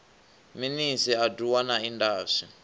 minis a doa na indas